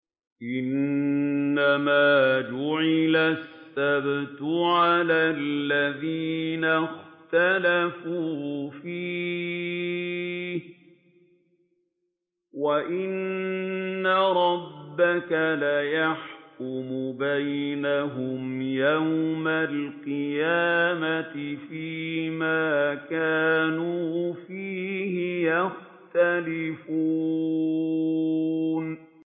إِنَّمَا جُعِلَ السَّبْتُ عَلَى الَّذِينَ اخْتَلَفُوا فِيهِ ۚ وَإِنَّ رَبَّكَ لَيَحْكُمُ بَيْنَهُمْ يَوْمَ الْقِيَامَةِ فِيمَا كَانُوا فِيهِ يَخْتَلِفُونَ